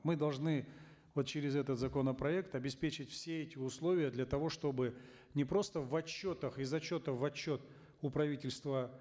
мы должны вот через этот законопроект обеспечить все эти условия для того чтобы не просто в отчетах из отчета в отчет у правительства